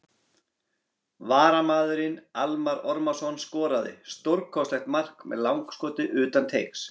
VARAMAÐURINN ALMARR ORMARSSON SKORAÐI STÓRKOSTLEGT MARK MEÐ LANGSKOTI UTAN TEIGS!!